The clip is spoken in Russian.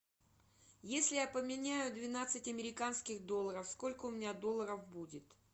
если я поменяю двенадцать американских долларов сколько у меня долларов будет